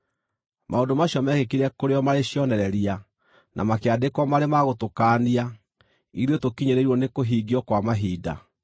Maũndũ macio meekĩkire kũrĩ o marĩ cionereria, na makĩandĩkwo marĩ ma gũtũkaania, ithuĩ tũkinyĩrĩirwo nĩ kũhingio kwa mahinda.